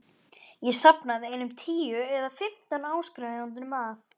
Ég safnaði einum tíu eða fimmtán áskrifendum að